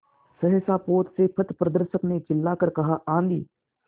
सहसा पोत से पथप्रदर्शक ने चिल्लाकर कहा आँधी